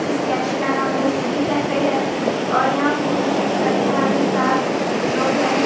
इस कैफे का नाम दि सिटी कैफे है और यहाँ फोटोशूट करने वाले सात लोग हैं ।